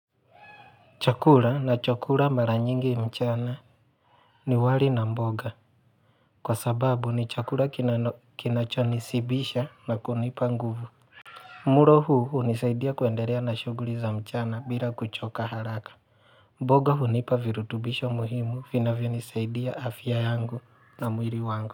Chakula na chakula mara nyingi mchana ni wali na mboga. Kwa sababu ni chakula kinachonishibisha na kunipa nguvu. Mlo huu hunisaidia kuendelea na shughuli za mchana bila kuchoka haraka. Mboga hunipa virutubisho muhimu vinavyo nisaidia afya yangu na mwili wangu.